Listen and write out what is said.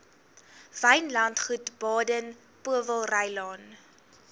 wynlandgoed baden powellrylaan